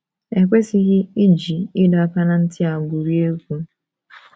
E kwesịghị iji ịdọ aka ná ntị a gwurie egwu.